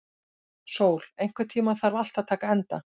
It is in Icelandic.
Sól, einhvern tímann þarf allt að taka enda.